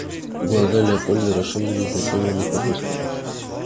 глаза леопольда расширились затем он их опустил